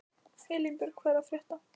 Elínbjörg, hvað er að frétta?